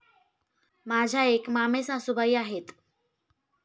माझ्या एक मामेसासुबाई आहेत.